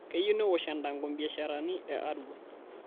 Keyiu neosh endango mbiasharani e Arua